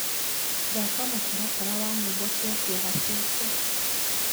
thaka mũtaratara wa nyĩmbo cĩa kieha cĩakwa